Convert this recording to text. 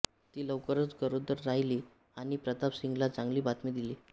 ती लवकरच गरोदर राहिली आणि प्रताप सिंगला चांगली बातमी दिली